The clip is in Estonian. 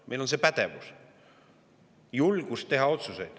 Meil on pädevus ja julgus teha otsuseid.